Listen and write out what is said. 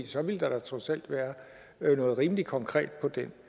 så ville der da trods alt være noget rimelig konkret på den